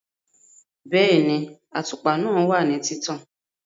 Bẹ́ẹ̀ni, àtùpà náà wà ní títàn